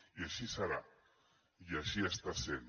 i així serà i així està sent